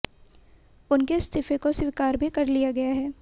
उनके इस्तीफे को स्वीकार भी कर लिया गया है